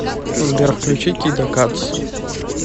сбер включи кида кадз